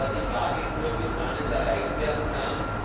Die Frage ist nur, bis wann es erreicht werden kann.